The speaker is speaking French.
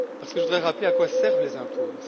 Je voudrais rappeler à quoi servent les impôts.